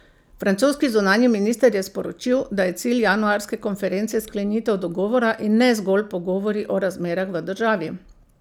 Francoski zunanji minister je sporočil, da je cilj januarske konference sklenitev dogovora in ne zgolj pogovori o razmerah v državi.